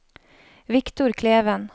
Victor Kleven